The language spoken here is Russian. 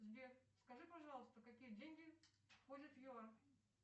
сбер скажи пожалуйста какие деньги входят в юар